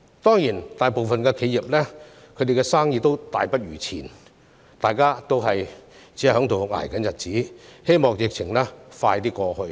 當然，大部分企業的生意已大不如前，大家都在捱日子，希望疫情盡快過去。